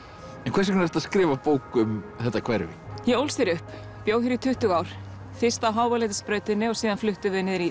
hvers vegna ertu að skrifa bók um þetta hverfi ég ólst hér upp bjó hér í tuttugu ár fyrst á Háaleitisbrautinni og síðan fluttum við niður í